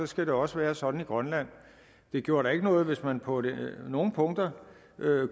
skal det også være sådan i grønland det gjorde da ikke noget hvis man på nogle punkter